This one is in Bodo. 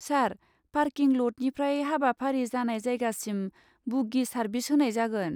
सार, पार्किं लटनिफ्राय हाबाफारि जानाय जायगासिम बुग्गि सारभिस होनाय जागोन।